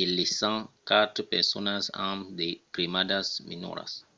e laissant quatre personas amb de cremadas menoras